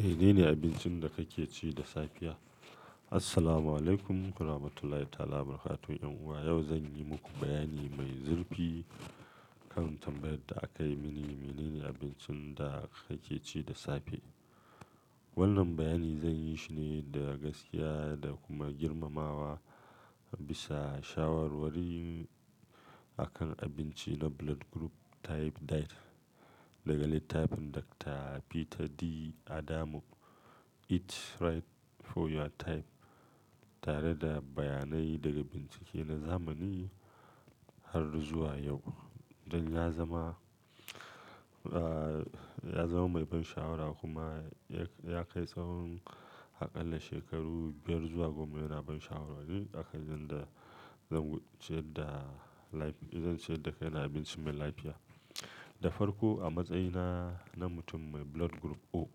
Menene abincin da kake ci da safiya? Assalamualaikum warahmatullahi ta'ala wabarakatuh. 'Yan uwa yau zan yi muku bayani mai zurfi kan tambayar da aka yi mini. Menene abincin da nake ci da safe? Wannan bayani zan yi shi ne da gaskiya da kuma girmamawa bisa shawarwari akan abinci na blood group type diet daga littafin Dr. Peter D'Adamo, Eat Right for Your Type, tare da bayanai daga bincike na zamani har zuwa yau. Don ya zama, ah, ya zama mai ban sha'awa kuma ya kai tsawon, Akalla shekaru biyar zuwa goma yana ban shawarwari akan yanda zan ciyar da lafi-- zan ciyar da kaina abinci mai lafiya. Da farko a matsayina na mutum mai blood group O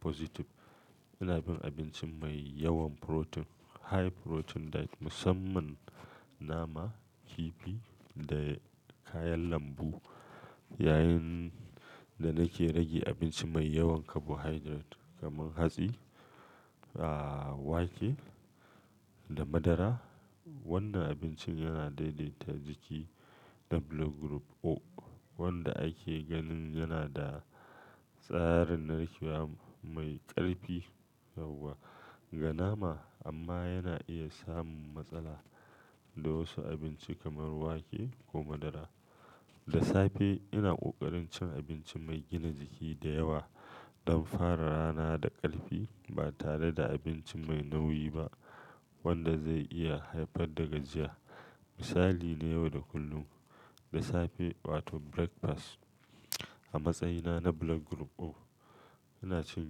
positive, ina bin abinci mai yawan protein, high protein diet, musamman nama, kifi da kayan lambu. Yayin da nake rage abinci mai yawan carbohydrate kamar hatsi, ah, wake da madara. Wannan abincin yana daidaita jiki na blood group O wanda ake ganin yana da tsarin narkewa mai ƙarfi ga nama amma yana iya samun matsala da wasu abinci kamar wake ko madara. Da safe ina ƙoƙarin cin abinci mai gina jiki da yawa don fara rana da ƙarfi ba tare da abinci mai nauyi ba wanda zai iya haifar da gajiya. Misali na yau da kullum, da safe wato breakfast a matsayina na blood group O ina cin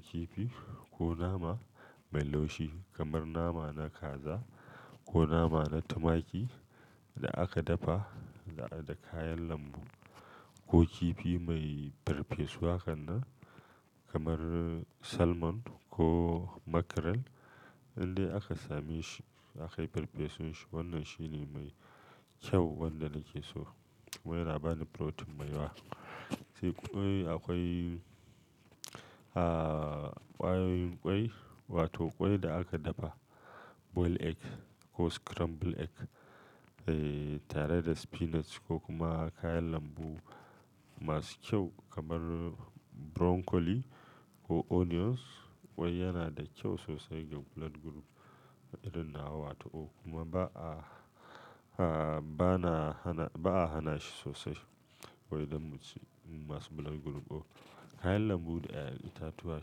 kifi ko nama mai laushi kamar nama na kaza ko nama na tumaki da aka dafa da kayan lambu ko kifi mai farfesu han nsn kamar salmon ko mackerel idan aka same shi, aka yi farfesun shi. Wannan shine mai kyau wanda nake so. Wai yana bani protein mai yawa. Sai kwai, akwai, ah, ƙwain ƙwai wato ƙwai da aka dafa boiled egg ko scrambled egg, eh, tare da spinach ko kuma kayan lambu masu kyau kamar broccoli ko onions. Ƙwai yana da kyau sosai ga blood group irin nawa wato O kuma ba'a, ah, bana hana-ba'a hana shi sosai ƙwai don masu blood group O. Kayan lambu da 'ya'yan itatuwa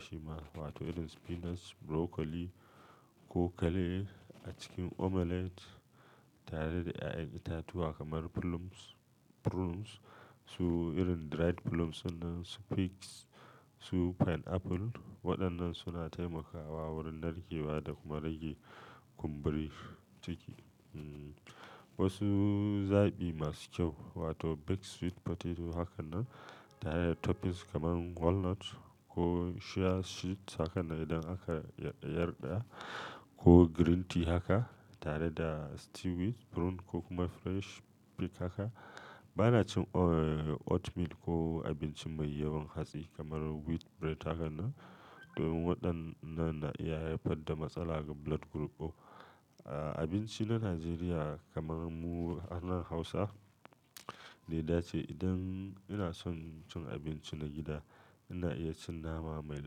shima wato irin spinach, broccoli ko kale a cikin omelette tare da 'ya'yan itatuwa kamar plums, prunes su irin dried plums sunan su figs su pineapple. Waɗannan suna taimakawa wurin narkewa da kuma rage kumburin ciki. Wasu zaɓi masu kyau wato baked sweet potato haka nan tare da toppings kamar walnut ko chia seeds haka nan idan aka yarda yarda. Ko green tea haka tare da stewed prune ko kuma fresh fig haka. Ba na cin o--oatmeal ko abinci mai yawan hatsi kamar wheat bread haka nan domin waɗannan na iya haifar da matsala ga blood group O. Abinci na Najeriya kamar mu anan Hausa, ni da ce idan ina son cin abinci na gida ina iya cin nama mai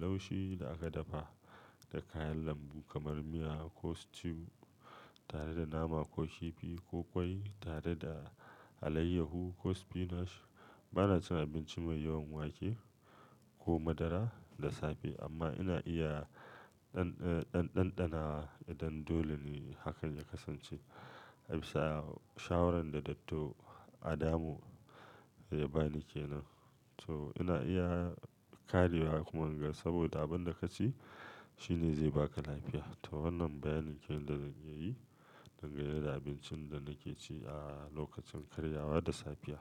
laushi da aka dafa da kayan lambu kamar miya ko stew tare da nama ko kifi ko ƙwai tare da alayyahu ko spinach. Ba na cin abinci mai yawan wake ko madara da safe amma ina iya ɗan-ɗan-ɗanɗana idan dole ne hakan ya kasance bisa shawarar da Dr. Adamo ya bani kenan. So ina iya ƙarewa kuma gaskiya saboda abin da ka ci shine zai ba ka lafiya. To wannan bayanin kenan da zan yi dangane da abincin da nake ci a lokacin karyawa da safiya.